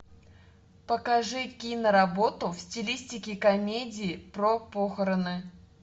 покажи киноработу в стилистике комедии про похороны